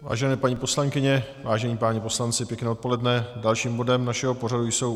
Vážené paní poslankyně, vážení páni poslanci, pěkné odpoledne, dalším bodem našeho pořadu jsou